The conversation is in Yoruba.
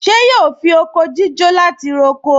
Ṣé yóò fi oko jíjó láti fi roko?